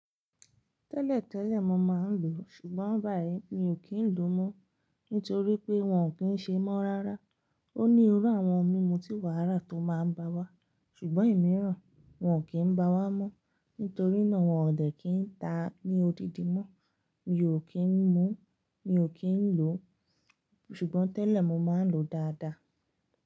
Tẹ́lẹ̀ tẹ́lẹ̀ mo máa ń lò ó, ṣùgbọ́n báyìí mi ò kí ń lò ó mọ́, nítorí pé wọn ò kí ń ṣe mọ́ rárá. Ó ní irú àwọn mímu tí wàrà tó máa ń ba wá, ṣùgbọ́n ìmíràn wọn ò kí ń ba wá mọ́, nítorí náà wọn ò dẹ́ kí ń ta ní odidi mọ́. Mi ò kí ń mu, mi ò kí ń lò ó, ṣùgbọ́n tẹ́lẹ̀ mo máa ń lò ó dáadáa.